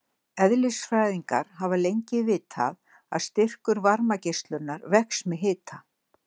Eðlisfræðingar hafa lengi vitað að styrkur varmageislunar vex með hita.